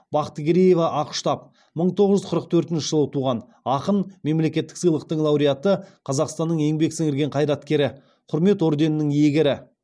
бақтыгереева ақұштап мың тоғыз жүз қырық төртінші жылы туған ақын мемлекеттік сыйлықтың лауреаты қазақстанның еңбек сіңірген қайраткері құрмет орденінің иегері